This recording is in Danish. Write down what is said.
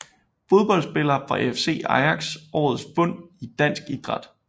Fodboldspillere fra AFC Ajax Årets fund i dansk idræt